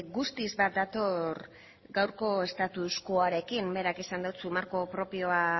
guztiz bat dator gaurko estutuarekin berak esan dizu marko propioa